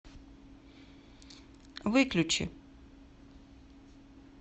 выключи